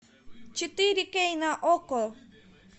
четыре кей на окко